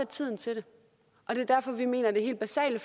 tiden til det og det er derfor vi mener at det helt basale